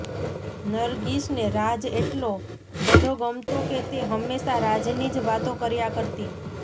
નરગિસને રાજ એટલો બધો ગમતો કે તે હંમેશાં રાજની જ વાતો કર્યા કરતી